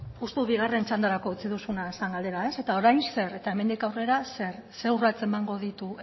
uste dut bigarren txandarako utzi duzuna zer galdera eta orain zer eta hemendik aurrera zer zer urrats emango ditu